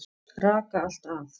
Raka allt af.